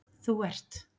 þú ert